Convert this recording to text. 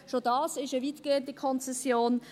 Schon dies ist eine weitgehende Konzession.